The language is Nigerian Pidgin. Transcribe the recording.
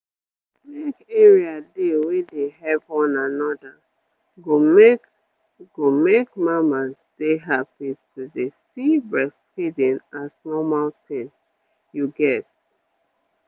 make area dey wey dey help one another go make go make mamas dey happy to dey see breastfeeding as normal tin you get